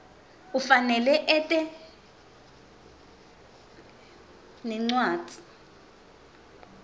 ufanele ete nencwadzi